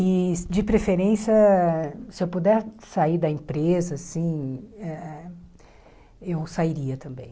E de preferência, se eu puder sair da empresa, assim eh eh eu sairia também.